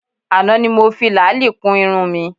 Àná ni mo fi làálì kun irun mi